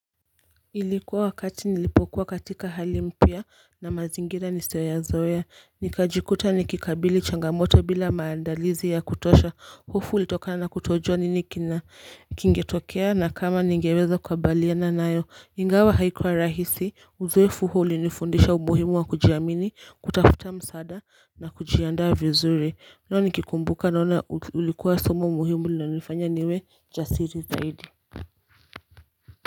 Ilikuwa wakati nilipokuwa katika hali mpya na mazingira nisioyo yazoea nikajikuta nikikabili changamoto bila maandalizi ya kutosha hofu ulitokana kutojua nini kina kingetokea na kama ningeweza kukabaliana nayo Ingawa haikuwa rahisi uzoefu huu ulinifundisha umuhimu wa kujiamini kutafuta msada na kujiandaa vizuri nikikumbuka naona ulikuwa somo mohimu na nifanya niwe jasiri zaidi.